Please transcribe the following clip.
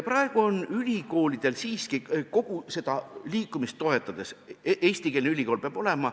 Praegu on ülikoolid kogu seda liikumist toetades siiski seisukohal, et eestikeelne ülikool peab olema.